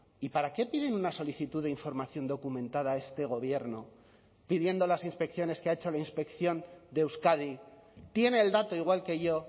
y para qué piden una solicitud de información documentada a este gobierno pidiendo las inspecciones que ha hecho la inspección de euskadi tiene el dato igual que yo